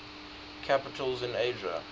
capitals in asia